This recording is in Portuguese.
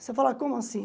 Você fala, como assim?